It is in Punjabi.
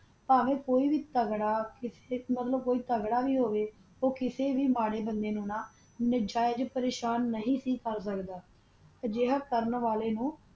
ਪਵਾ ਕੋਈ ਬੇ ਤਾਗਾਰਾ ਮਤਲਬ ਕੋਈ ਵੀ ਤਾਗ੍ਰਾ ਵੀ ਹੋਵਾ ਕਾਸਾ ਵੀ ਮਰਾ ਬੰਦਾ ਨੂ ਪ੍ਰਸ਼ਨ ਨਾਜਾਜ਼ ਪ੍ਰਸ਼ਨ ਨਹੀ ਕੀਤਾ ਕਰ ਦਾ ਬਹਾਦ ਕਰ ਵਾਲਾ ਨੂ